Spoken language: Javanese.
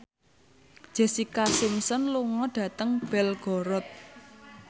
Jessica Simpson lunga dhateng Belgorod